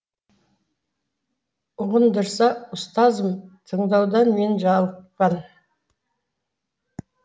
ұғындырса ұстазым тыңдаудан мен жалықпан